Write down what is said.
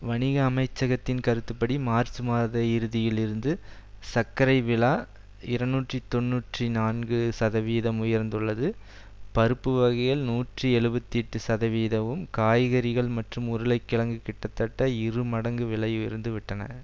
வணிக அமைச்சகத்தின் கருத்துப்படி மார்ச் மாத இறுதியில் இருந்து சர்க்கரை வில இருநூற்றி தொன்னூற்றி நான்கு சதவிகிதம் உயர்ந்துள்ளது பருப்பு வகைகள் நூற்றி எழுபத்தி எட்டு சதவிகிதமும் கறிகாய்கள் மற்றும் உருளைக்கிழங்கு கிட்டத்தட்ட இரு மடங்கு விலை உயர்ந்து விட்டன